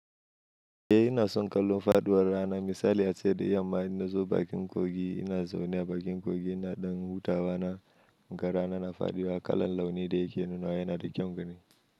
Eh, ina son kallon faɗuwar rana. Misali ace da yamma in nazo bakin kogi ina zaune a bakin kogi ina ɗan hutawa na. Ga rana na fadiwa kalan launi da yake nuna wa yana da kyan gani.